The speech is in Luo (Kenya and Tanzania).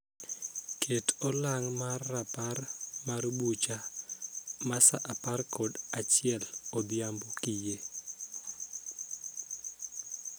Ket olang' mar rapar mar bucha ma saa apar kod achiel odhiambo kiyie.